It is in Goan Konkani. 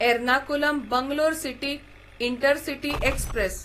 Ernakulam Bangalore city intercity express